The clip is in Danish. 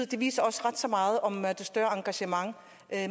det viser ret så meget om det større engagement